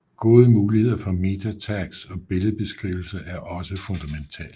Gode muligheder for MetaTags og billedbeskrivelser er også fundamentalt